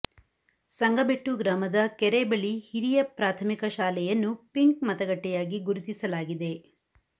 ಸಂಗಬೆಟ್ಟು ಗ್ರಾಮದ ಕೆರೆಬಳಿ ಹಿರಿಯ ಪ್ರಾಥಮಿಕ ಶಾಲೆಯನ್ನು ಪಿಂಕ್ ಮತಗಟ್ಟೆಯಾಗಿ ಗುರುತಿಸಲಾಗಿದೆ